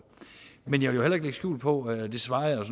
men jeg vil heller ikke lægge skjul på det svarede